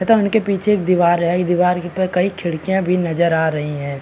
तथा उनके पीछे एक दीवार है दीवार पर कई खिड़कियां भी नजर आ रही है।